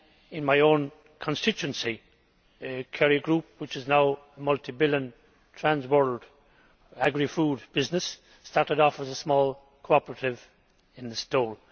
In my own constituency the Kerry Group which is now a multi billion transworld agrifood business started off as a small cooperative in Listowel.